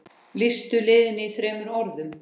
Lýstu liðinu í þremur orðum?